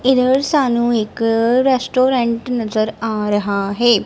ਇਧਰ ਸਾਨੂੰ ਇੱਕ ਰੈਸਟੂਰੈਂਟ ਨਜਰ ਆ ਰਹਾ ਹੈ।